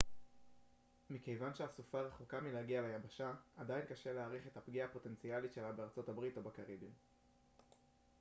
מכיוון שהסופה רחוקה מלהגיע ליבשה עדיין קשה להעריך את הפגיעה הפוטנציאלית שלה בארצות הברית או בקריביים